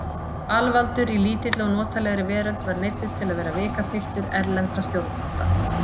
Alvaldur í lítilli og notalegri veröld var neyddur til að vera vikapiltur erlendra stjórnvalda.